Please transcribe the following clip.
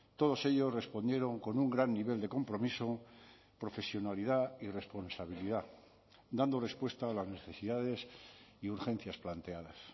todos ellos respondieron con un gran nivel de compromiso profesionalidad y responsabilidad dando respuesta a las necesidades y urgencias planteadas